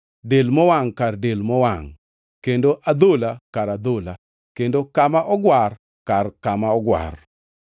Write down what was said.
del mowangʼ kar del mowangʼ kendo adhola kar adhola, kendo kama ogwar kar kama ogwar.